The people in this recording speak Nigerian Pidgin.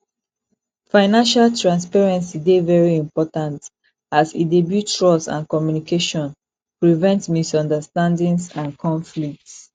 financial transparency dey very important as e dey build trust and communication prevent misunderstandings and conflicts